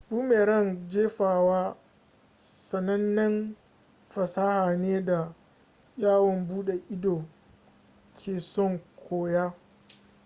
boomerang jefawa sanannen fasaha ne da yawon bude ido ke son koya